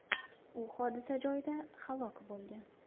U hodisa joyida halok bo‘lgan.